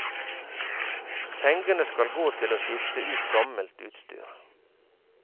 Pengene skal gå til å skifte ut gammelt utstyr.